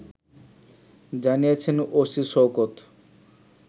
জানিয়েছেন ওসি শওকত